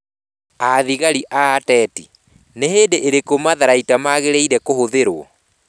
Athigari na Ateti: Nĩ hĩndĩ ĩrĩkũ matharaita magĩrĩire kũhũthĩrũo?